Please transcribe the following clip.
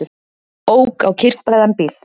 Ók á kyrrstæðan bíl